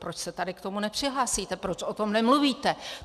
Proč se tady k tomu nepřihlásíte, proč o tom nemluvíte?